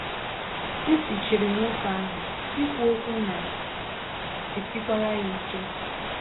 Ntị chiri nwoke ahụ, ikwu okwu na - esikwara ya ike.